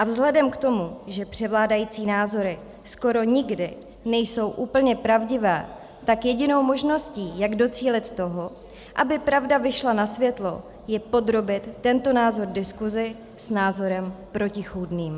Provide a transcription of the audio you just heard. A vzhledem k tomu, že převládající názory skoro nikdy nejsou úplně pravdivé, tak jedinou možností, jak docílit toho, aby pravda vyšla na světlo, je podrobit tento názor diskusi s názorem protichůdným.